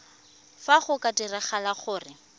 fa go ka diragala gore